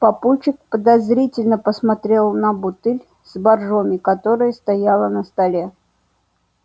папульчик подозрительно посмотрел на бутыль с боржоми которая стояла на столе